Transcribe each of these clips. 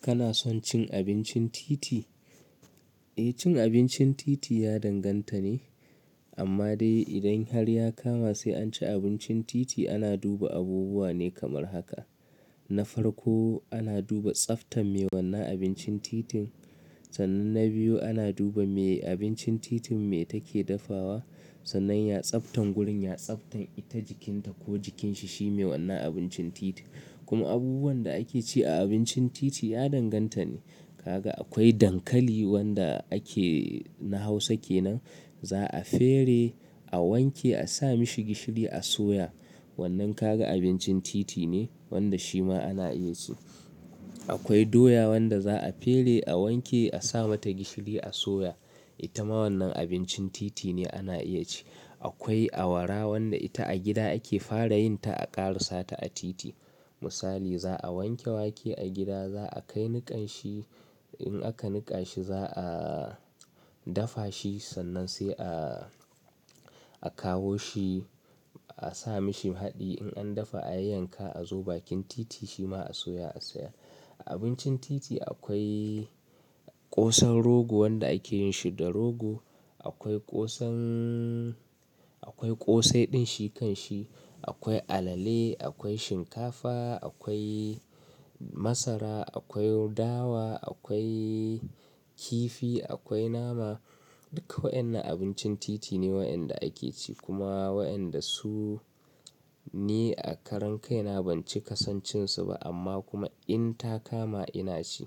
Kana son cin abincin titi? Eh cin abincin titi ya danganta ne, amma dai idan har ya kama sai an ci abincin titi ana duba abubuwa ne kamar haka. Na farko ana duba tsaftan me wanna abincin titin, sannan na biyu ana duba me abincin titin me take dafawa, sannan ya tsaftan gurin ya tsaftan ita jikinta ko jikinsa shine wannan abincin titi. Kuma abubuwan da ake ci a abincin titi ya danganta ne. Kaga akwai dankali wanda ake na Hausa kenan, za'a fere, a wanke, a sa mashi gishiri a soya. Wannan kaga abincin titi ne wanda shi ma ana iya ci. Akwai doya wanda za'a fere, a wanke, a sa mata gishiri a soya. Ita ma wannan abincin titi ne ana iya ci. Akwai awara wanda ita a gida ake fara yin ta a ƙara sata a titi. Misali, za'a wanke wake a gida, za'a kai niƙan shi, in aka niƙa shi za'a dafa shi, sannan sai a, a kawo shi a sa mashi haɗi, in an dafa a yanka a zo bakin titi shi ma a soya a sayar. Abincin titi akwai ƙosan rogo wanda ake yin shi da rogo. Akwai ƙosan, akwai ƙosai din shi kan shi. Akwai alale, akwai shinkafa, akwai masara, akwai dawa, akwai kifi, akwai nama. Duka waɗannan abincin titi ne waɗanda ake ci kuma waɗanda su ne a karan kai na ban ci kasan cin su ba amma kuma in ta kama ina ci.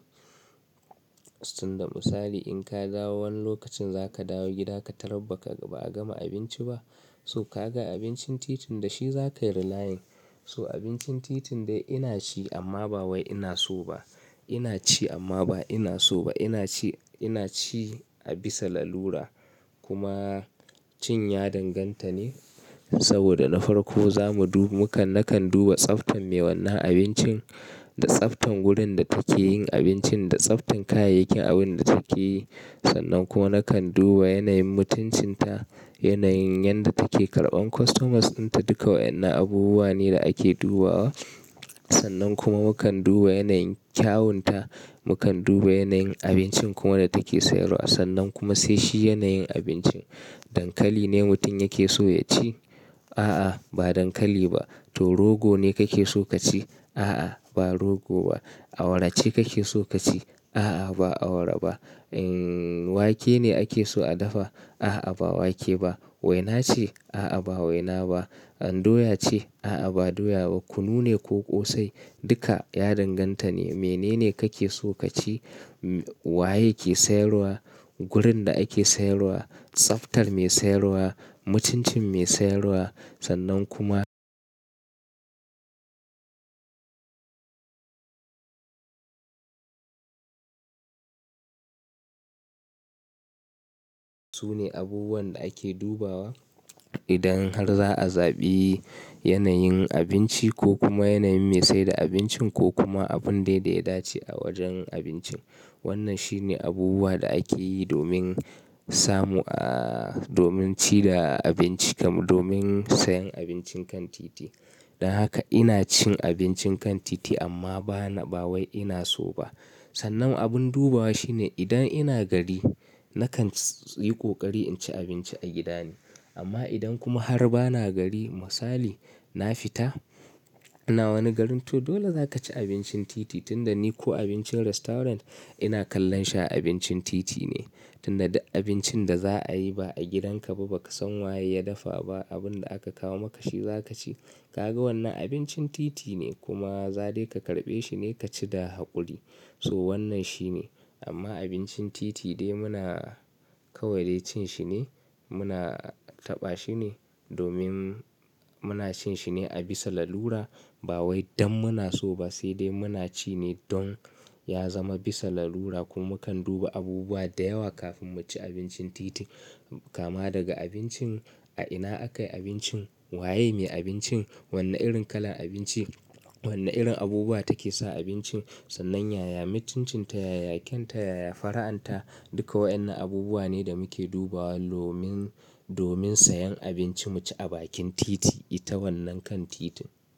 Tun da misali in ka dawo wani lokacin za ka dawo gida ka tarar ba ka, ba a gama abinci ba. So kaga abincin titin da shi za kayi relaying. So abincin titin dai ina ci amma ba wai ina so ba. Ina ci amma ba ina so ba. Ina ci, ina ci a bisa lalura kuma cin ya danganta ne saboda na farko zamu du mukan, na kan duba tsaftan me wannan abincin, da tsaftan wurin da take yin abincin, da tsaftan kayayyakin abin da take yi. Sannan kuma na kan duba yanayin mutuncin ta, yanayin yanda take karɓan customers ɗinta duka waɗannan abubuwa ne da ake dubawa. Sannan kuma mukan duba yanayin kyawun ta, mukan duba yanayin abincin kuma da take sayarwa sannan kuma sai shi yanayin abincin. Dankali ne mutum yake so ya ci? A'a ba dankali ba. To rogo ne kake so ka ci? A'a ba rogo ba. Awara ce kake so ka ci? A'a ba awara ba. Wake ne ake so a dafa? A'a ba wake ba. Waina ce? A'a ba waina ba. Doya ce? A'a ba doya ba. Kunu ne ko ƙosai? Duka ya danganta ne. Mene ne kake so ka ci? Waye ke sayarwa? Gurin da ake sayarwa, tsaftar me sayarwa, mutuncin me sayarwa sannan kuma su ne abubuwan da ake dubawa idan har za'a zaɓi yanayin abinci ko kuma yanayin me saida abincin ko kuma abun dai dai da ya dace a wajen abincin. Wannan shine abubuwa da ake yi domin samu aaa domin ci da abinci kam domin sayen abincin kan titi. Dan haka ina cin abincin kan titi amma ba na, ba wai ina so ba. Sannan abun dubawa shine idan ina gari na kan yi ko ƙari in ci abinci a gida ne. Amma idan kuma har ba na gari misali na fita, ina wani garin to dole za ka ci abincin titi tun da ni ko abincin restaurant ina kallon shi a abincin titi ne. Tun da abincin da za a yi ba a gidanka ba baka san waye ya dafa ba abun da aka kawo maka shi za ka ci. Kaga wannan abincin titi ne kuma za dai ka karɓe shi ne ka ci da haƙuri. So wannan shi ne. Amma abincin titi dai muna, kawai dai cin shi ne, muna taɓa shi ne, domin muna cin shi ne a bisa lalura, ba wai dan muna so ba sai dai muna ci ne don ya zama bisa lalura, kuma mukan duba abubuwa da yawa kafin mu ci abincin titi. Kama daga abincin, a ina aka yi abincin, waye me abincin, wane irin kalan abinci, wane irin abubuwa take sa abincin, sannan yaya mutuncin ta, yaya kyawunta, yaya fara'an ta duka waɗannan abubuwa ne da muke dubawa domin, domin sayen abinci mu ci a bakin titi. Ita wannan kan titin.